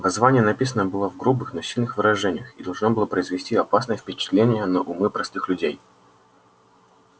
воззвание написано было в грубых но сильных выражениях и должно было произвести опасное впечатление на умы простых людей